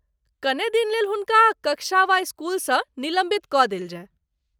कनेक दिन लेल हुनका कक्षा वा स्कूल सँ निलम्बित कऽ देल जाय।